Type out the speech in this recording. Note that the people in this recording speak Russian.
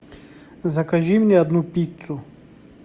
закажи мне одну пиццу